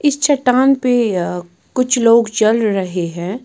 इस चट्टान पे अ कुछ लोग चल रहे हैं।